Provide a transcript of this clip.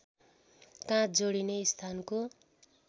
काँध जोडिने स्थानको